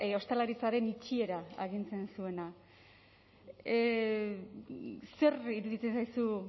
ostalaritzaren itxiera agintzen zuena zer iruditzen zaizu